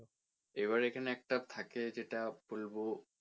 এবারে এখানে একটা থাকে যেটা বলবো,